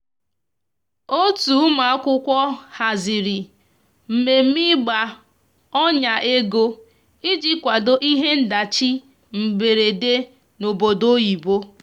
otu ụmụakwụkwọ haziri mmeme igba ọnya ego ịjị kwado ihe ndachi mgberede n'obodo oyibo